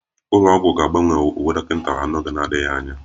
Ụlọ ọgwụ ga-agbanwe uwe dọkịta ha n'oge na-adịghị anya